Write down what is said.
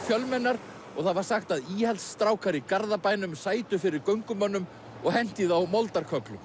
fjölmennar og það var sagt að íhaldsstrákar í Garðabænum sætu fyrir göngumönnum og hentu í þá